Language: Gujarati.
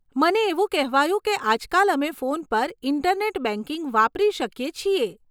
મને એવું કહેવાયું કે આજકાલ અમે ફોન પર ઈન્ટરનેટ બેંકિંગ વાપરી શકીએ છીએ.